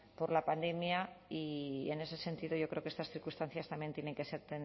por la pandemia y en ese sentido yo creo que estas circunstancias también tienen que ser